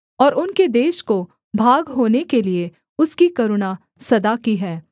और उनके देश को भाग होने के लिये उसकी करुणा सदा की है